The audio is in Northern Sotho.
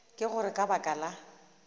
ka gore ka baka la